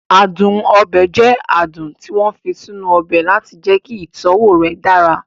Adùn ọbẹ̀ jẹ adùn tí wọ́n fi sínú ọbẹ̀ láti jẹ́kí ìtọ́wọ̀ rẹ̀ dára